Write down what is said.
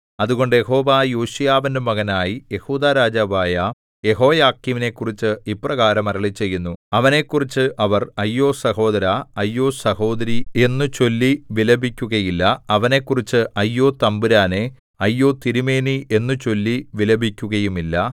അതുകൊണ്ട് യഹോവ യോശീയാവിന്റെ മകനായി യെഹൂദാ രാജാവായ യെഹോയാക്കീമിനെക്കുറിച്ച് ഇപ്രകാരം അരുളിച്ചെയ്യുന്നു അവനെക്കുറിച്ച് അവർ അയ്യോ സഹോദരാ അയ്യോ സഹോദരീ എന്നു ചൊല്ലി വിലപിക്കുകയില്ല അവനെക്കുറിച്ച് അയ്യോ തമ്പുരാനേ അയ്യോ തിരുമേനീ എന്നു ചൊല്ലി വിലപിക്കുകയുമില്ല